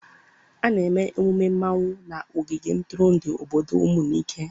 A na-eme emume mmanwụ na ogige ntụrụndụ obodo Umunike.